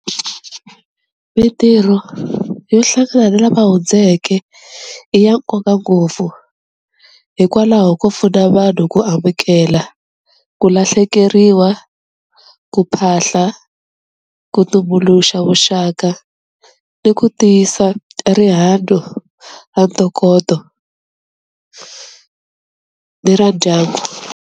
Mintirho yo hlangana ni lava hundzeke i ya nkoka ngopfu hikwalaho ko pfuna vanhu ku amukela ku lahlekeriwa, ku phahla, ku tumbuluxa vuxaka ni ku tiyisa rihanyo ra ntokoto ni ra ndyangu.